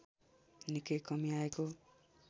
निकै कमि आएको